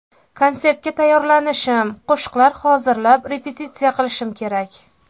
Konsertga tayyorlanishim, qo‘shiqlar hozirlab, repetitsiya qilishim kerak.